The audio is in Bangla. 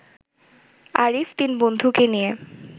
আরিফ তিন বন্ধুকে নিয়ে